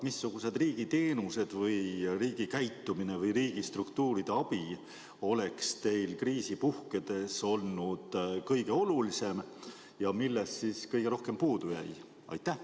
Missugused riigi teenused, milline riigi käitumine või milliste riigistruktuuride abi oleks teile kriisi puhkedes olnud kõige olulisem ja millest kõige rohkem puudu jäi?